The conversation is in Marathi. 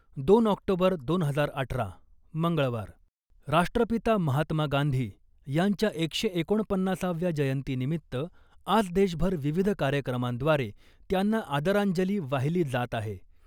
दोन ऑक्टोबर , दोन हजार अठरा, मंगळवार, राष्ट्रपिता महात्मा गांधी यांच्या एकशे एकोणपन्नासाव्या जयंतिनिमित्त आज देशभर विविध कार्यक्रमांद्वारे त्यांना आदरांजली वाहिली जात आहे .